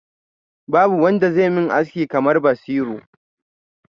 Babu wanda zai min aski kamar Basiru.